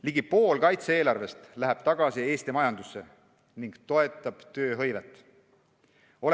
Ligi pool kaitse-eelarvest läheb tagasi Eesti majandusse ning toetab tööhõivet.